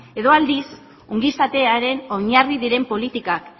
edo aldiz ongizatearen oinarri diren politikak